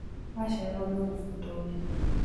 Wachererwo nĩũkũbutwo wĩra